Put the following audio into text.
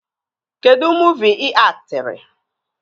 Kedụ muuvi ị aktịrị?